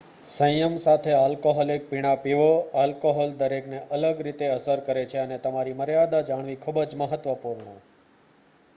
સંયમ સાથે આલ્કોહોલિક પીણાં પીવો આલ્કોહોલ દરેકને અલગ રીતે અસર કરે છે અને તમારી મર્યાદા જાણવી ખૂબ જ મહત્વપૂર્ણ